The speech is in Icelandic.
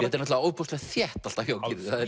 er náttúrulega ofboðslega þétt alltaf hjá